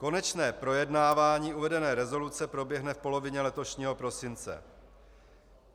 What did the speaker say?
Konečné projednávání uvedené rezoluce proběhne v polovině letošního prosince.